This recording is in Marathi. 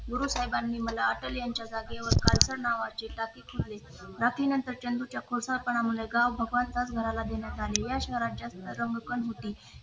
गुरु साहेबांनी मला अटल यांच्या खाली नावावर खालची गादी दिली गाव भगवानदास यांच्या घराला देण्यात आली